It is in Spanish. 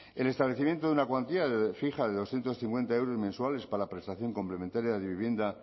el establecimiento de una cuantía de fija de doscientos cincuenta euros mensuales para la prestación complementaria de vivienda